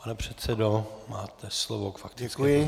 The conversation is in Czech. Pane předsedo, máte slovo k faktické poznámce.